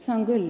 Saan küll.